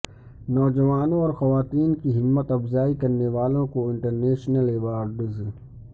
نوجوانوں اور خواتین کی ہمت افزائی کرنے والوں کو انٹرنیشنل ایوارڈز